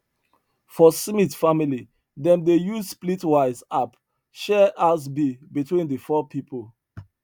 for smith family dem dey use splitwise app share house bill between the four people